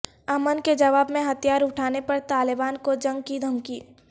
امن کے جواب میں ہتھیار اٹھانے پر طالبان کو جنگ کی دھمکی